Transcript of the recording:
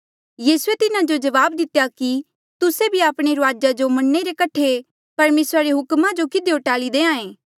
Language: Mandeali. यीसूए तिन्हा जो जवाब दितेया कि तुस्से भी आपणे रूआजा रे मन्ने रे कठे परमेसरा रे हुक्मा जो किधियो टाल्ही देहां ऐ